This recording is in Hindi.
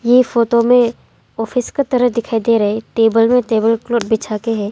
ये फोटो में ऑफिस की तरह दिखाई दे रहे टेबल में टेबल क्लॉथ बिछाते हैं।